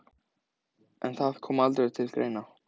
En það kom aldrei til greina.